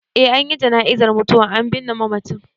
Eh an yi jana'izar mutuwar, an binne mamacin.